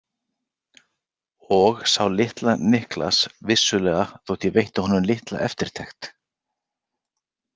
Og sá litla Niklas vissulega þótt ég veitti honum litla eftirtekt.